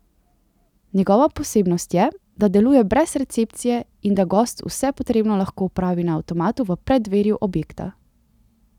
Njegova posebnost je, da deluje brez recepcije in da gost vse potrebno lahko opravi na avtomatu v preddverju objekta.